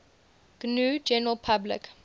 gnu general public